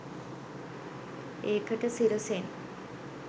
ඒකට සිරසෙන්